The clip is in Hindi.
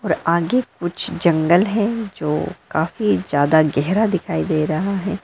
और आगे कुछ जंगल है जो काफी ज्यादा गहरा दिखाई दे रहा है।